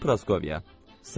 Salam Proskoviya.